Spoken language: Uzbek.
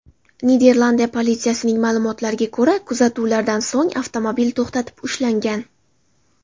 Niderlandiya politsiyasining ma’lumotlariga ko‘ra, kuzatuvlardan so‘ng avtomobil to‘xtatib ushlangan.